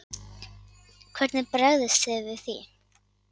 Hvernig bregðist þið við því?